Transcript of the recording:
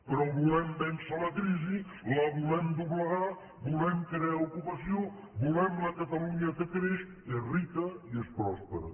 però volem vèncer la crisi la volem doblegar volem crear ocupació volem la catalunya que creix és rica i és pròspera